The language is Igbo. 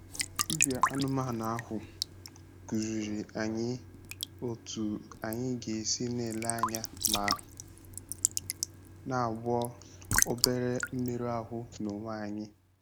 Dibịa anụmanụ ahụ kụziiri anyị otú anyị ga-esi na-ele anya ma na-agwọ obere mmerụ ahụ n'onwe anyị.